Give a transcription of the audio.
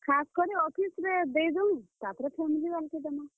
ଖାସ୍ କରି office ରେ ଦେଇ ଦଉଁ ତାରପରେ family ବାଲେ କୁ ଦେମାଁ।